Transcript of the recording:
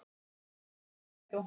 Lóa: Notarðu mikið strætó?